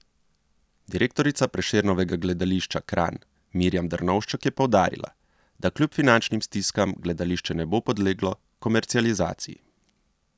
Direktorica Prešernovega gledališča Kranj Mirjam Drnovšček je poudarila, da kljub finančnim stiskam gledališče ne bo podleglo komercializaciji.